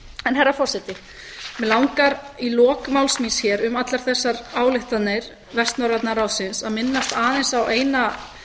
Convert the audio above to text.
herra forseti mig langar í lok máls míns hér um allar þessar ályktanir vestnorræna ráðsins að minnast aðeins á eina